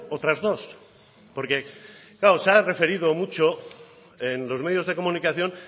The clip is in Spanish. otras dos porque claro se ha referido mucho en los medios de comunicación